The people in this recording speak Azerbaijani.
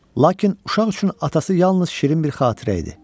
Lakin uşaq üçün atası yalnız şirin bir xatirə idi.